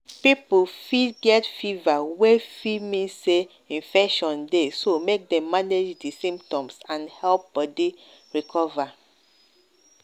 people fit get fever wey fit mean say infection dey so make dem manage di symptoms and help body recover.